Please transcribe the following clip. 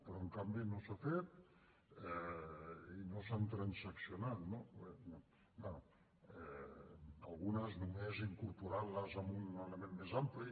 però en canvi no s’ha fet i no s’han transaccionat no bé algunes només incorporant les en un element més ampli